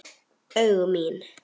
Augu mín.